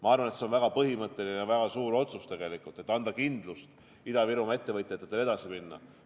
Ma arvan, et see on väga põhimõtteline ja suur otsus, selleks et anda Ida-Virumaa ettevõtjatele kindlust edasiminekuks.